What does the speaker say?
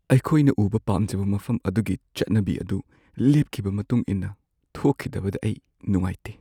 ꯑꯩꯈꯣꯏꯅ ꯎꯕ ꯄꯥꯝꯖꯕ ꯃꯐꯝ ꯑꯗꯨꯒꯤ ꯆꯠꯅꯕꯤ ꯑꯗꯨ ꯂꯦꯞꯈꯤꯕ ꯃꯇꯨꯡ ꯏꯟꯅ ꯊꯣꯛꯈꯤꯗꯕꯗ ꯑꯩ ꯅꯨꯡꯉꯥꯏꯇꯦ꯫